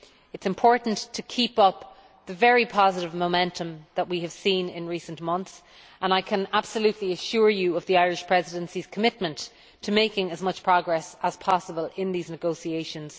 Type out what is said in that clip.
It is important to keep up the very positive momentum that we have seen in recent months, and I can absolutely assure you of the Irish Presidency's commitment to making as much progress as possible in these negotiations.